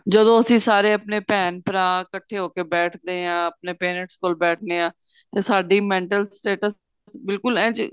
ਜਦੋ ਅਸੀਂ ਸਾਰੇ ਆਪਣੇ ਭੇਣ ਭਰਾ ਇਕੱਠੇ ਹੋ ਕੇ ਬੈਠਦੇ ਆ ਆਪਣੇ parents ਕੋਲ ਬੈਠਣੇ ਆ ਤੇ ਸਾਡੀ mental status ਬਿਲਕੁਲ ਇਹ ਜੇ